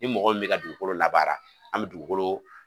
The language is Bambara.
Ni mɔgɔ min mɛ ka dugukolo labaara an mɛ dugukolo